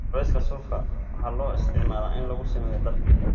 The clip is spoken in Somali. Cawska suufka waxaa loo isticmaalaa in lagu sameeyo dhar.